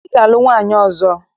Ị ga-alụ nwaanyị ọzọ!